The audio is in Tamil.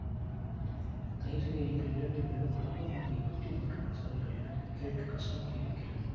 தயவு செய்து நீங்கள் இரண்டு பேரும் மகாத்மா காந்தியை பற்றி ஒன்றும் பேசாதீர்கள் எனக்கு கேட்க கஷ்டமாயிருக்கிறது